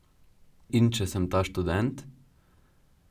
In če sem ta študent?